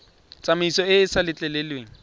tsamaiso e e sa letleleleng